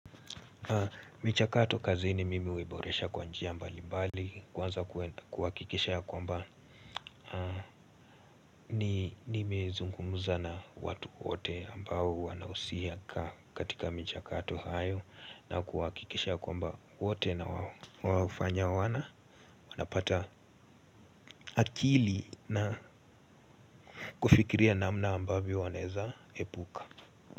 Michakato kazini mimi huiboresha kwa njia mbali mbali kwanza kuhakikisha ya kwamba ni nimezungumza na watu wote ambao wanausia katika michakato hayo na kuwahakikisha ya kwamba wote na waofanya wana wanapata akili na kufikiria namna ambavyo wanaeza epuka.